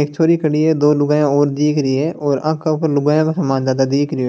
एक छोरी खड़ी है दो लुगाइया और दिख रही है और आके ऊपर लुगाइया का समान ज्यादा दिख रहियो है।